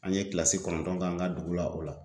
An ye kilasi kɔnɔntɔn k'an ka dugu la o la.